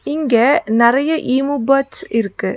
இங்க நெறைய emu birds இருக்கு.